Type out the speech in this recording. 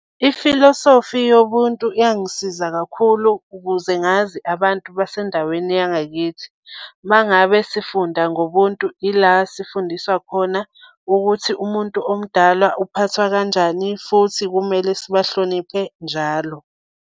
Ifilosofi yobuntu yangisiza kakhulu ukuze ngazi abantu basendaweni yangakithi. Uma ngabe sifunda ngobuntu, ila sifundiswa khona ukuthi umuntu omdala uphathwa kanjani, futhi kumele sibahloniphe njalo.